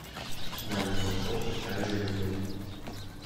маленькая упаковка чая гринфилд